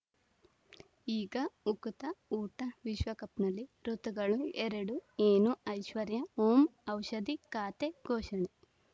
ಈಗ ಉಕುತ ಊಟ ವಿಶ್ವಕಪ್‌ನಲ್ಲಿ ಋತುಗಳು ಎರಡು ಏನು ಐಶ್ವರ್ಯಾ ಓಂ ಔಷಧಿ ಖಾತೆ ಘೋಷಣೆ